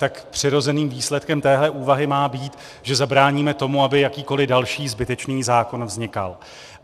Tak přirozeným výsledkem téhle úvahy má být, že zabráníme tomu, aby jakýkoli další zbytečný zákon vznikal.